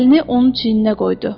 Əlini onun çiyninə qoydu.